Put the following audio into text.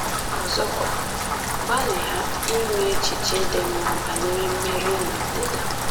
Ọzọkwa, gbalịa inwe echiche dị mma banyere mmeri na ọdịda.